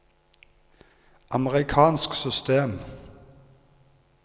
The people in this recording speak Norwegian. amerikansk system